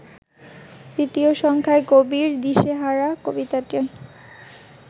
তৃতীয় সংখ্যায় কবির ‘দিশাহারা’ কবিতাটি